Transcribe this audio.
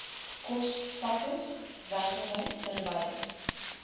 kospakkes wegry terwyl